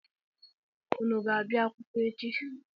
Unu ga-abịa akwụkwọ echi?